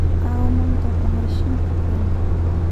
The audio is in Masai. kaomon toponai shimpi penyo